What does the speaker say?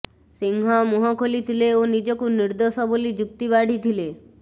ସିଂହ ମୁହଁ ଖୋଲି ଥିଲେ ଓ ନିଜକୁ ନିର୍ଦ୍ଦୋଷ ବୋଲି ଯୁକ୍ତି ବାଢ଼ିଥିଲେ